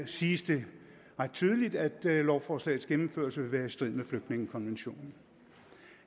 siges det ret tydeligt at lovforslagets gennemførelse vil være i strid med flygtningekonventionen